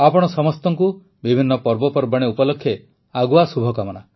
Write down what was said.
ଆପଣ ସମସ୍ତଙ୍କୁ ବିଭିନ୍ନ ପର୍ବପର୍ବାଣୀ ଉପଲକ୍ଷେ ଆଗୁଆ ଶୁଭକାମନା